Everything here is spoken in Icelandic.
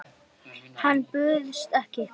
Hann bauðst ekki.